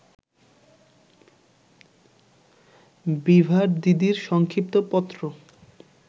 বিভার দিদির সংক্ষিপ্ত পত্র